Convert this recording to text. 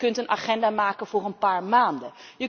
Je kunt een agenda maken voor een paar maanden.